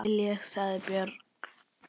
Nú skil ég, sagði Björg.